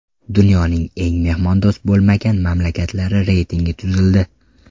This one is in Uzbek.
Dunyoning eng mehmondo‘st bo‘lmagan mamlakatlari reytingi tuzildi.